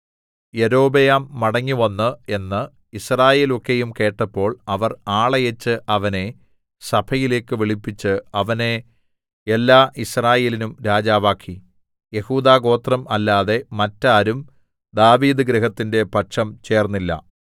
യൊരോബെയാം മടങ്ങിവന്നു എന്ന് യിസ്രായേലൊക്കെയും കേട്ടപ്പോൾ അവർ ആളയച്ച് അവനെ സഭയിലേക്ക് വിളിപ്പിച്ച് അവനെ എല്ലാ യിസ്രായേലിനും രാജാവാക്കി യെഹൂദാഗോത്രം അല്ലാതെ മറ്റാരും ദാവീദ്ഗൃഹത്തിന്റെ പക്ഷം ചേർന്നില്ല